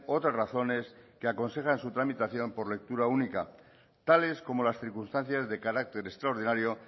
otras razones que aconsejan su tramitación por lectura única tales como las circunstancias de carácter extraordinario